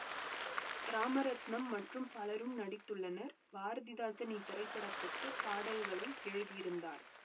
ராமரத்னம் மற்றும் பலரும் நடித்துள்ளனர் பாரதிதாசன் இத்திரைப்படத்துக்கு பாடல்களை எழுதியிருந்தார்